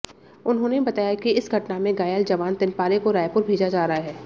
उन्होंने बताया कि इस घटना में घायल जवान तिनपारे को रायपुर भेजा जा रहा है